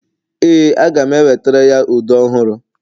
ee, aga m enwetara ya ude ọhụrụ